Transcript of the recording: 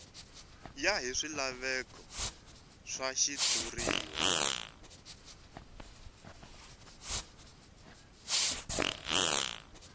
ya hi swilaveko swa xitshuriwa